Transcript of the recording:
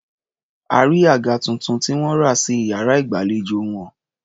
A rí àga tuntun tí wọ́n rà sí iyàrá ìgbàlejò wọn.